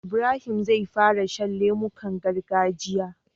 Ibrahim zai fara shan lemukan gargajiya